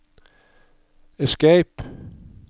escape